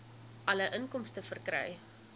alle inkomste verkry